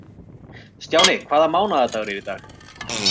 Stjáni, hvaða mánaðardagur er í dag?